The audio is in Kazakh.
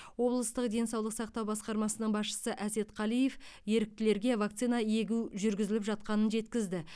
облыстық денсаулық сақтау басқармасының басшысы әсет қалиев еріктілерге вакцина егу жүргізіліп жатқанын жеткізді